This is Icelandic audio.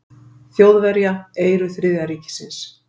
Þjóðverja, eyru Þriðja ríkisins.